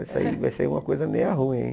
Vai sair vai sair uma coisa meio ruim hein.